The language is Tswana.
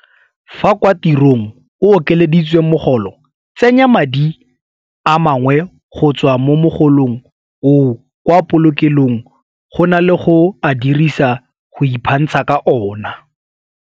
Fa kwa tirong o okeleditswe mogolo, tsenya madi a mangwe go tswa mo mogolong oo kwa polokelong go na le go a dirisa go iphantsha ka ona.